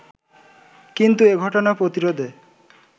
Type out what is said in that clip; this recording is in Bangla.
কিন্তু এ ঘটনা প্রতিরোধে